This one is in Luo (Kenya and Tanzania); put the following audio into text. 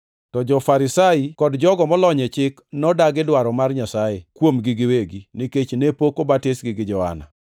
To jo-Farisai kod jogo molony e chik nodagi dwaro mar Nyasaye kuomgi giwegi, nikech ne pok obatisgi gi Johana.)